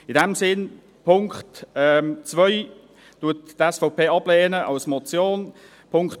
In diesem Sinn: Den Punkt 2 lehnt die SVP als Motion ab.